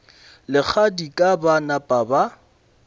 le kgadika ba napa ba